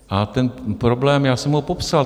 A ten problém, já jsem ho popsal.